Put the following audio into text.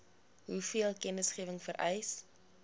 hoeveel kennisgewing vereis